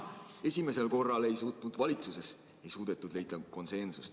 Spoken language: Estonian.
Esimesel korral ei suudetud valitsuses konsensust leida.